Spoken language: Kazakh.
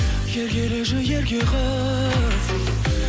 еркелеші ерке қыз